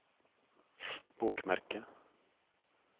bokmerke